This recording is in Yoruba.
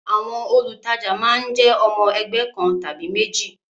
Àwọn olùtajà máa ń jẹ́ ọmọ ẹgbẹ́ kan tàbí méjì